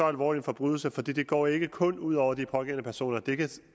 alvorlig forbrydelse for det går ikke kun ud over de pågældende personer det kan